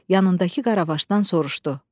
Yanındakı qaravaşdan soruşdu: